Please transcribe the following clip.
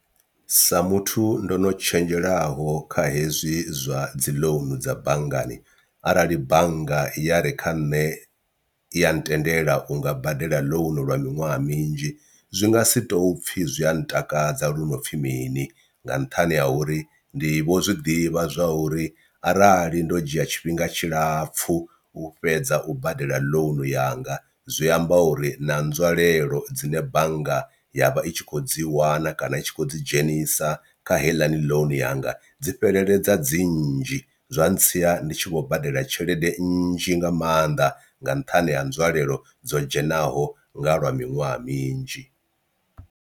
Sa muthu ndo no tshenzhelaho kha hezwi zwa dzi ḽounu dza banngani arali bannga ya re kha nṋe ya ntendela unga badela ḽounu lwa miṅwaha minzhi zwi nga si tou pfhi zwia ntakadza lu no pfhi mini, nga nṱhani ha uri ndi vho zwi ḓivha zwa uri arali ndo dzhia tshifhinga tshilapfhu u fhedza u badela ḽounu yanga zwi amba uri na nzwalelo dzine bannga ya vha i tshi kho dzi wana kana i tshi khou dzi dzhenisa kha heiḽani ḽounu yanga dzi fheleledza dzi nnzhi zwa ntsia ndi tshi vho badela tshelede nnzhi nga maanḓa nga nṱhani ha nzwalelo dzo dzhenaho nga lwa miṅwaha minzhi.